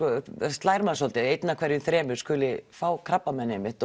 slær mann svolítið að einn af hverjum þremur skuli fá krabbamein einmitt